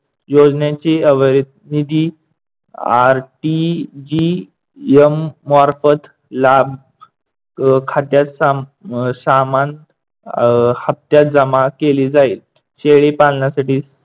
योजनेची अविरिध निधी RTGM मार्फत लाभ खात्यात अह सामान अह हप्‍त्‍यात जमा केली जाईल.